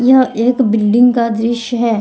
यह एक बिल्डिंग का दृश्य है।